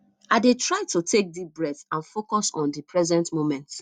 i dey try to take deep breaths and focus on di present moment